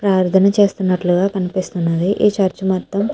ప్రార్ధన చేస్తున్నట్లుగా కనిపిస్తున్నది ఈ చర్చి మొత్తం --